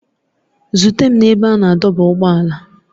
Zute m n'ebe a na-adọba ụgbọala!